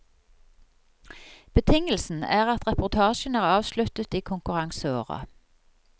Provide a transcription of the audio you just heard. Betingelsen er at reportasjen er avsluttet i konkurranseåret.